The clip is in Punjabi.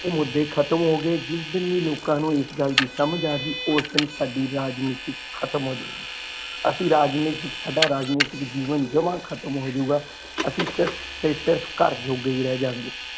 ਦੇ ਮੁਦੇ ਖਤਮ ਹੋ ਗਏ ਜਿਸ ਦਿਨ ਵੀ ਲੋਕਾਂ ਨੂੰ ਇਸ ਗੱਲ ਦੀ ਸਮਝ ਆ ਗਈ ਓਸ ਦਿਨ ਸਾਡੀ ਰਾਜਨੀਤੀ ਖਤਮ ਹੋ ਜਾਏਗੀ ਅਸੀਂ ਰਾਜਨੀਤਿਕ ਸਦਾ ਰਾਜਨੀਤਿਕ ਜੀਵਨ ਜਮਾ ਖਤਮ ਹੋ ਜਾਊਗਾ ਅਸੀਂ ਸਿਰਫ ਤੇ ਸਿਰਫ ਘਰ ਜੋਗੇ ਹੀ ਰਹਿ ਜਾਵਾਂਗੇ।